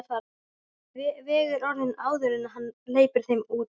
Vegur orðin áður en hann hleypir þeim út.